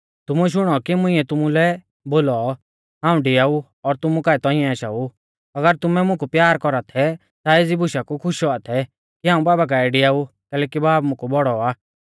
तुमुऐ शुणौ कि मुंइऐ तुमुलै बोलौ हाऊं डिआऊ और तुमु काऐ तौंइऐ आशाऊ अगर तुमै मुकु प्यार कौरा थै ता एज़ी बुशा कु खुश औआ थै कि हाऊं बाबा काऐ डेआऊ कैलैकि बाब मुकु बौड़ौ आ